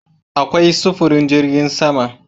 Akwai sufurin jirgin sama